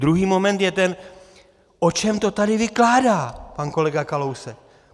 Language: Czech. Druhý moment je ten - o čem to tady vykládá pan kolega Kalousek?